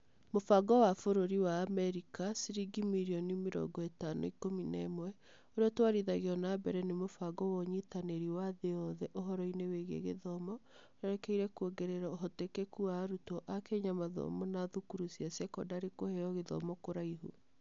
Mũbango wa Bũrũri wa Amerika ciringi mirioni mĩrongo ĩtano ikũmi na ĩmwe, ũrĩa ũtwarithagio na mbere nĩ mũbango wa Ũnyitanĩri wa Thĩ Yothe Ũhoro-inĩ Wĩgiĩ Gĩthomo ũrerekeire kwongerera ũhotekeku wa arutwo a Kenya a mathomo na thukuru cia sekondarĩ kũheo gĩthomo kũraihu.